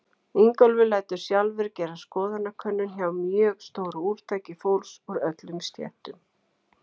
Ingólfur lætur sjálfur gera skoðanakönnun hjá mjög stóru úrtaki fólks úr öllum stéttum.